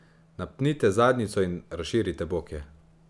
Napnite zadnjico in razširite boke.